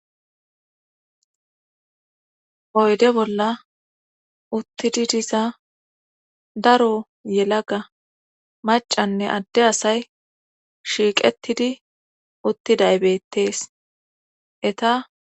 oyde bolla uttidi diza daro yelaga macanne adde asay shiiqettidi uttiday bettees eta